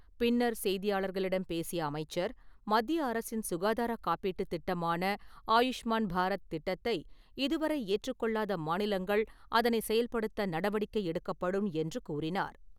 பின்னர் செய்தியாளர்களிடம் பேசிய அமைச்சர், மத்திய அரசின் சுகாதாரக் காப்பீட்டுத் திட்டமான ஆயுஷ்மாண் பாரத் திட்டத்தை இதுவரை ஏற்றுக்கொள்ளாத மாநிலங்கள், அதனைச் செயல்படுத்த நடவடிக்கை எடுக்கப்படும் என்று கூறினார்.